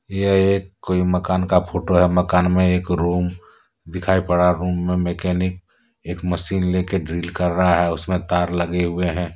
यह एक कोई मकान का फोटो है मकान में एक रूम दिखाई पड़ा रूम में मैकेनिक एक मशीन ले के ड्रिल कर रहा है उसमें तार लगे हुए हैं।